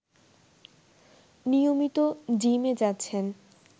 নিয়মিত জিমে যাচ্ছেন